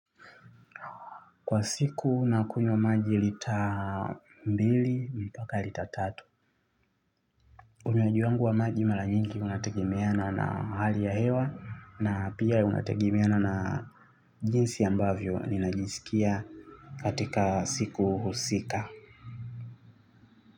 Kwa siku nakunywa maji lita mbili, mpaka lita tatu. Unywaji wangu wa maji mara nyingi unategemeana na hali ya hewa na pia unategrmeana na jinsi ambavyo ninajisikia katika siku husika.